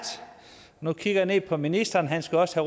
nu kigger jeg ned på ministeren han skal også